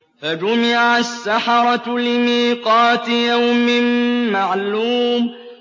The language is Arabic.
فَجُمِعَ السَّحَرَةُ لِمِيقَاتِ يَوْمٍ مَّعْلُومٍ